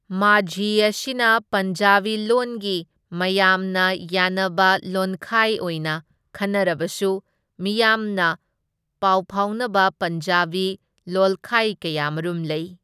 ꯃꯥꯓꯤ ꯑꯁꯤꯅ ꯄꯟꯖꯥꯕꯤ ꯂꯣꯟꯒꯤ ꯃꯌꯥꯝꯅ ꯌꯥꯅꯕ ꯂꯣꯟꯈꯥꯢ ꯑꯣꯏꯅ ꯈꯟꯅꯔꯕꯁꯨ, ꯃꯤꯌꯥꯝꯅ ꯄꯥꯎꯐꯥꯎꯅꯕ ꯄꯟꯖꯥꯕꯤ ꯂꯣꯜꯈꯥꯏ ꯀꯌꯥꯃꯔꯨꯝ ꯂꯩ꯫